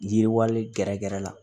Yiriwalen gɛrɛgɛrɛ la